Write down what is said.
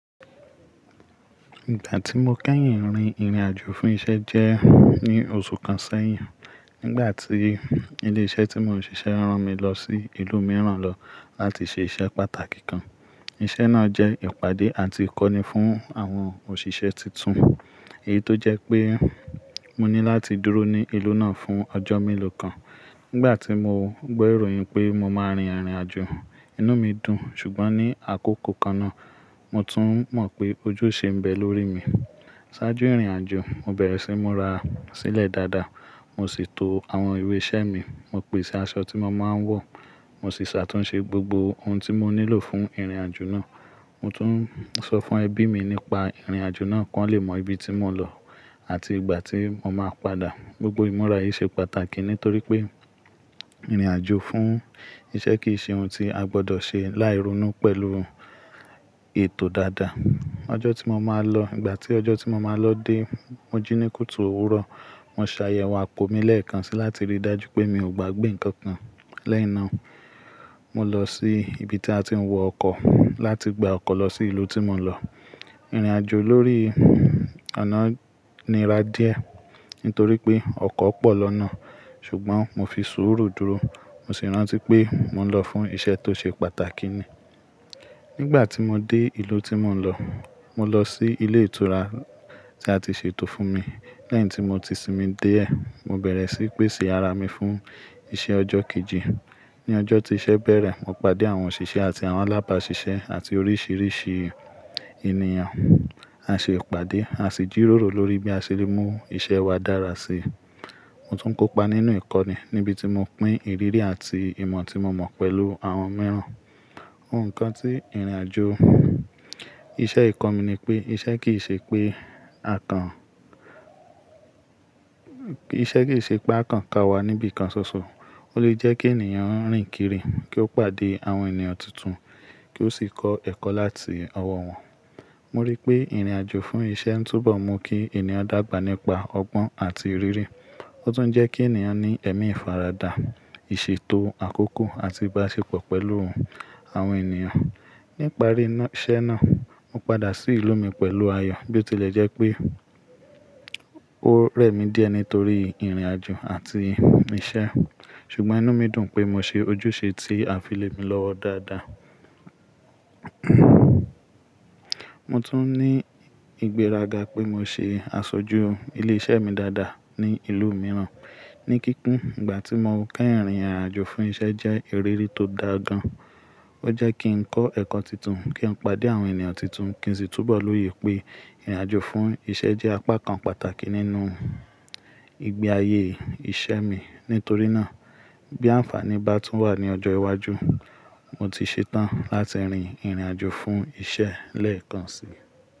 Ìgbà tí mo kẹ́yìn rin ìrìnàjò fún iṣẹ́ jẹ́ ní oṣù kan sẹ́yìn. Nígbà tí ilé iṣẹ́ tí mò ń ṣiṣẹ́ rán mi lọ sí ìlú mìíràn lọ láti ṣe iṣẹ́ pàtàkì kan. Iṣẹ́ náà jẹ́ ìpàdé àti ìkọ́ni fún àwọn òṣìṣẹ́ tuntun. Èyí tó jẹ́ pé mo ní láti dúró ní ìlú náà fún ọjọ́ mélòó kan. Nígbà tí mo gbọ́ ìròyìn pé mo máa rin ìrìnàjò, inú mi dùn. Ṣùgbọ́n ní àkókò kan náà, mo tún mọ̀ pé ojúṣe ń bẹ lórí mi. Sájú ìrìnàjò, mo bẹ̀rẹ̀ sí múra sílẹ̀ dáadáa. Mo sì to àwọn ìwé iṣẹ́ mi. Mo pèsè aṣọ tí mo máa ń wọ̀. Mo sì ṣàtúnṣe gbogbo ohun tí mo nílò fún ìrìnàjò náà. Mo tún sọ fún ẹbí mi nípa ìrìnàjò náà kí wọ́n lè mọ ibi tí mò ń lọ àti ìgbà tí mo máa padà. Gbogbo ìmúra yìí ṣe pàtàkì nítorí pé ìrìnàjò fún iṣẹ́ kì í ṣe ohun tí a gbọdọ̀ ṣe láì ronú pẹ̀lú ètò dáadáa. Ọjọ́ tí mo máa lọ-- ìgbà tí ọjọ́ tí mo máa lọ dé, mo jí ní kùtù òwúrọ̀. Mo ṣàyẹ̀wò àpò mi lẹ́ẹ̀kan si láti rí i dájú pé mi ò gbàgbé nǹkan kan lẹ́yìn náà. Mo lọ sí ibi tí a ti ń wọ ọkọ̀ láti gba ọkọ̀ lọ sí ìlú tí mò ń lọ. Ìrìnàjò lórí ọ̀nà níra díẹ̀ nítorí pé ọkọ̀ pọ̀ lọ́nà. Ṣùgbọ́n mo fi sùúrù dúró. Mo sì rántí pé mò ń lọ fún iṣẹ́ tó ṣe pàtàkì ni. Nígbà tí mo dé ìlú tí mò ń lọ, mo lọ sí ilé ìtura tí a ti ṣètò fún mi. Lẹ́yìn tí mo ti sinmi déẹ̀, mo bẹ̀rẹ̀ sí í pèsè ara mi fún iṣẹ́ ọjọ́ kejì. Ni ọjọ́ tí iṣẹ́ bẹ̀rẹ̀, mo pàdé àwọn òṣìṣẹ́ àti àwọn alábàáṣiṣẹ́ àti oríṣìíríṣìí ènìyàn. A ṣe ìpàdé, a sì jíróró lórí bí a ṣe lè mú iṣẹ́ wa dára sí i. Mo tún kópa nínú ìkọ́ni níbi tí mo pín ìrírí àti ìmọ̀ tí mo mọ̀ pẹ̀lú àwọn mìíràn. Ohun kan tí ìrìnàjò iṣẹ́ yì kọ́ mi ni pé iṣẹ́ kì í ṣe pé à kàn, iṣẹ́ kì í ṣe pé à kàn ka wa níbi kan ṣoṣo. Ó lè jẹ́ kí ènìyàn rìn kiri, kí ó pàdé àwọn ènìyàn tuntun, kí ó sì kọ́ ẹ̀kọ́ láti ọwọ́ wọn. Mo rí pé ìrìnàjò fún iṣẹ́ ń túbọ̀ mú kí ènìyàn dàgbà nípa ọgbọ́n àti ìrírí. Ó tún ń jẹ́ kí ènìyàn ní ẹ̀mí ìfaradà, ìṣètò àkókò àti ìbáṣepọ̀ pẹ̀lú àwọn ènìyàn. Ní ìparí iṣẹ́ náà, mo padà sí ìlú mi pẹ̀lú ayọ̀ bí ó tilẹ̀ jẹ́ pé ó rẹ̀ mí díẹ̀ nítorí ìrìnàjò àti ìṣe. Ṣùgbọ́n inú mi dùn pé mo ṣe ojúṣe tí a fi lé mi lọ́wọ́ dáadáa. Mo tún ní ìgbéraga pé mo ṣe aṣojú ilé iṣẹ́ mi dáadáa ní ìlú mìíràn. Ní kíkún, ìgbà tí mo kẹ́yìn rin ìrìnàjò fún iṣẹ́ jẹ́ ìrírí tó dáa gan-an. Ó jẹ́ kí n kọ́ ẹ̀kọ́ tuntun, kí n pàdé àwọn ènìyàn tuntun kí n sì túbọ̀ lóye pé ìrìnàjò fún iṣẹ́ jẹ́ apá kan pàtàkì nínú ìgbé ayé iṣẹ́ mi. Nítorí náà, bí àǹfàní bá tún wà ní ọjọ́ iwájú, mo ti ṣetán láti rin ìrìnàjò fún iṣẹ́ lẹ́ẹ̀kan si.